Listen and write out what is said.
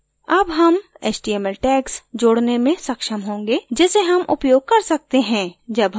अब html html tags जोडने में सक्षम होंगे जिसे html उपयोग कर सकते हैं जब html source पर देखते हैं